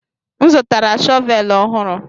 M zụtara shọvel ọhụrụ